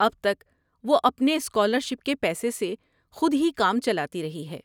اب تک وہ اپنے اسکالر شپ کے پیسے سے خود ہی کام چلاتی رہی ہے۔